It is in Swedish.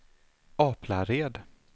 Aplared